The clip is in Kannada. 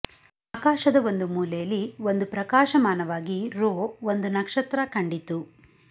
ಆಕಾಶದ ಒಂದು ಮೂಲೇಲಿ ಒಂದು ಪ್ರಕಾಶಮಾನವಾಗಿರೋ ಒಂದು ನಕ್ಷ ತ್ರ ಕಂಡಿತು